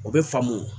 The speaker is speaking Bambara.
O bɛ faamu